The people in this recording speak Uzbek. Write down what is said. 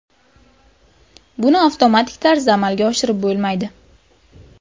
Buni avtomatik tarzda amalga oshirib bo‘lmaydi.